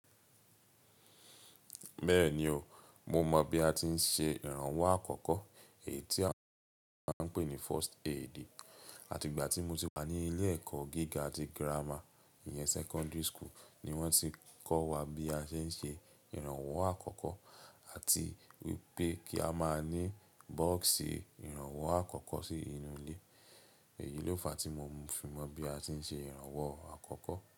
Bẹ́ẹ̀ni o, mo mọ̀ bí a ti ń ṣe ìrànwọ́ àkọ́kọ́. Èyí tí à- a ń pè ní first aid. Àti ìgbà tí mo ti wà ní ilé ẹ̀kọ́ gíga ti gírámà, ìyẹn secondary school ni wón tí kọ́ wa bí a ṣe ń ṣe ìrànwọ́ àkọ́kọ́ àti wípé kí a máa ní bọ́ọ̀sì ìrànwọ́ àkọ́kọ́ sí inú ilé. Èyí ló fàá tí mo fi mọ̀ bí a ṣe ń ṣe ìrànwọ́ àkọ́kọ́